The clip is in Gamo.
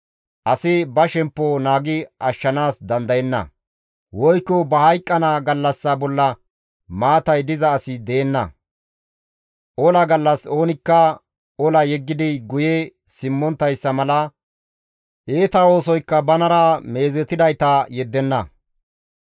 Asi ba shemppo naagi ashshanaas dandayenna; woykko ba hayqqana gallassa bolla maatay diza asi deenna; ola gallas oonikka ola yeggidi guye simmonttayssa mala iita oosoykka banara meezetidayta yeddenna.